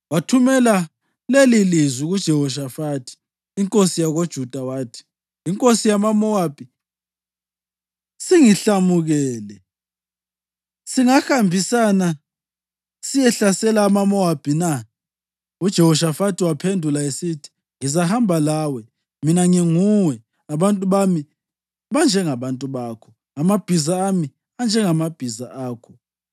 Wathumela lelilizwi kuJehoshafathi inkosi yakoJuda wathi: “Inkosi yamaMowabi isingihlamukele. Singahambisana siyehlasela amaMowabi na?” UJehoshafathi waphendula esithi, “Ngizahamba lawe. Mina nginguwe, abantu bami banjengabantu bakho, amabhiza ami anjengamabhiza akho.”